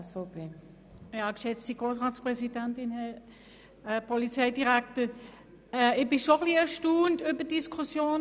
Ich bin schon etwas erstaunt über die jetzige Diskussion.